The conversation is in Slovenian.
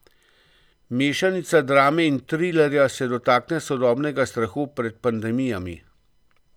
Mešanica drame in trilerja se dotakne sodobnega strahu pred pandemijami.